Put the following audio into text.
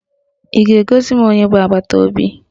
Ị ga-egosi m onye bụ agbataobi?